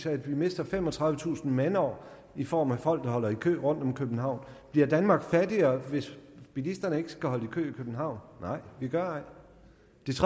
at vi mister femogtredivetusind mandår i form af folk der holder i kø rundtom i københavn bliver danmark fattigere hvis bilisterne ikke skal holde i københavn nej vi gør